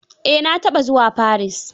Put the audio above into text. Eh na taɓa zuwa Paris.